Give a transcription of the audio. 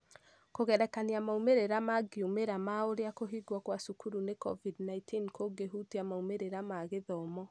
Kũgerekania maumĩrĩra mangĩumĩra ma ũrĩa kũhingwo kwa cukuru nĩ COVID-19 kũngĩhutia maumĩrĩra ma mathomo